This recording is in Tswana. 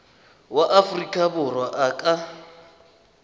wa aforika borwa a ka